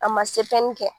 A ma se pɛrɛnni kɛ